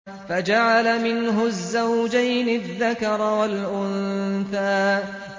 فَجَعَلَ مِنْهُ الزَّوْجَيْنِ الذَّكَرَ وَالْأُنثَىٰ